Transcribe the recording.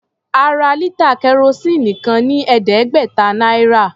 A ra lítà kẹrosíìnì kan ní ẹ̀ẹ́dẹ́gbẹ̀ta náírà.